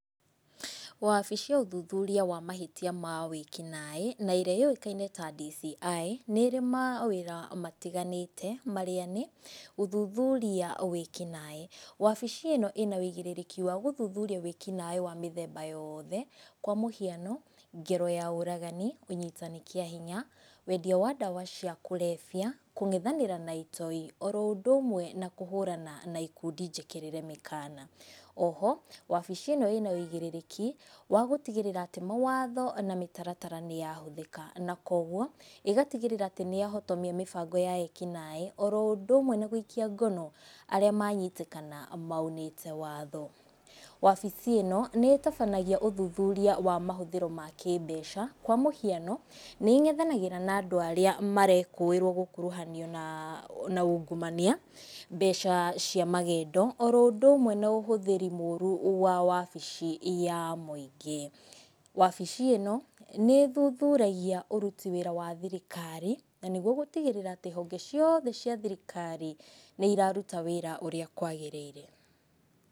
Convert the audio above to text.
Wabici ya ũthuthuria wa mahĩtia ma wĩkinaĩ, na iria yoiĩkaine ta DCI, nĩrĩ mawĩra matiganĩte marĩa nĩ, guthuthuria wĩkinaĩ, wabici ĩno ina wĩigĩrĩrĩki wa gũthuthuria wĩkinaĩ wa mĩthemba yoothe, kwa mũhiano, ngero ya ũragani, ũnyitani kĩa hinya, wendia wa ndawa cia kũrebia, kũngethanĩra na itoi, oro ũndũ ũmwe na kũhũrana na ikundi njĩkĩrĩre mĩkana, oho wabici ĩno ĩna wĩigarĩrĩki wa gũtigĩrĩra atĩ mawatho na mĩtaratara nĩ yahũthĩka, na koguo, ĩgatigĩrĩra atĩ nĩ yahotomia mĩbango ya ekinaĩ, oroũndũ ũmwe na gũikia ngono arĩa manyitĩkana maunĩte watho, wabici ĩno nĩ ĩtabanagia ũthuthuria wa mahũthĩro ma ngĩmbeca, kwa mũhiano nĩ ngethanagĩra na andũ arĩa marekũĩrwo gũkuruhanio na na ungumania, mbeca cia magendo, oro ũndũ ũmwe na ũhũthĩri mũru wa wabici ya mwĩingĩ, wabici ĩno nĩ ĩthuthuragia ũruti wĩra wa thirikari, na nĩguo gũtigĩrĩra honge cioothe cia thirikari nĩ iraruta wĩra ũrĩa kwagĩrĩire.